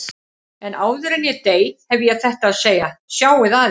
En áður en ég dey hef ég þetta að segja: Sjáið að ykkur.